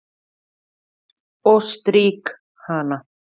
Og strýk hana.